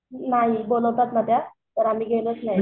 नाही बोलवतात ना त्या पण आम्ही गेलोच नाही.